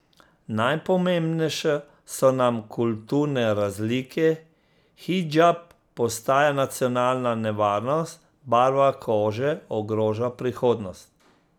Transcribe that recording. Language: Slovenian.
Najpomembnejše so nam kulturne razlike, hidžab postaja nacionalna nevarnost, barva kože ogroža prihodnost...